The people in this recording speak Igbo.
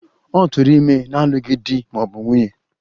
Ọ tụụrụ ime n'alụghị di ma ọ bụ nwunye.